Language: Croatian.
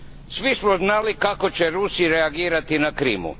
Svi smo znali kako će Rusi reagirati na Krimu.